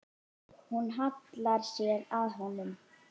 Hún hallar sér að honum.